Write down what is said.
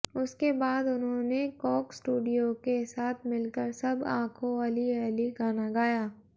उसके बाद उन्होंने कोक स्टूडियो के साथ मिलकर सब आखो अली अली गाना गया